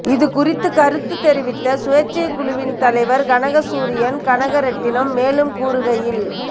இது குறித்து கருத்து தெரிவித்த சுயேட்சைக்குழுவின் தலைவர் கனகசூரியம் கனகரெட்ணம் மேலும் கூறுகையில்